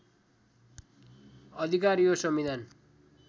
अधिकार यो संविधान